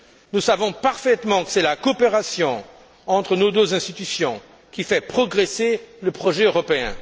Nous savons parfaitement que c'est la coopération entre nos deux institutions qui fait progresser le projet européen.